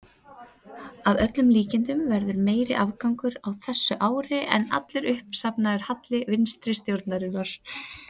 Að öllum líkindum verður meiri afgangur á þessu ári en allur uppsafnaður halli vinstri stjórnarinnar.